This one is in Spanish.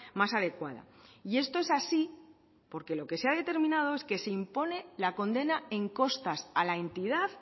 más adecuada y esto es así porque lo que se ha determinado es que se impone la condena en costas a la entidad